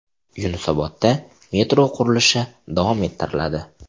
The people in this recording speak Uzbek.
Yunusobodda metro qurilishi davom ettiriladi.